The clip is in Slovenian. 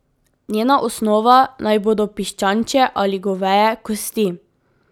Njena osnova naj bodo piščančje ali goveje kosti.